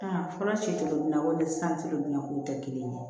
Aa fɔlɔ si kolowalen santigiw bɛ na k'u tɛ kelen ye